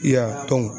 Y'a